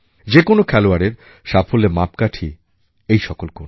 যে কোনও খেলোয়াড়ের সাফল্যের মাপকাঠি এই সকল গুণ